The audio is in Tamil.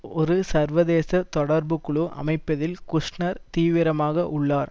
ஒரு சர்வதேச தொடர்புக் குழு அமைப்பதில் குஷ்நெர் தீவிரமாக உள்ளார்